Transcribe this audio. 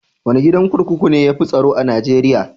Wane gidan kurkuku ne ya fi tsaro a Najeriya?